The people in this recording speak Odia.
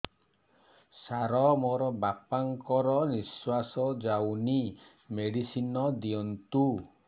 ସାର ମୋର ବାପା ଙ୍କର ନିଃଶ୍ବାସ ଯାଉନି ମେଡିସିନ ଦିଅନ୍ତୁ